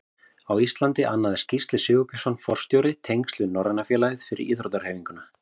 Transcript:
Á Íslandi annaðist Gísli Sigurbjörnsson forstjóri tengsl við Norræna félagið fyrir íþróttahreyfinguna.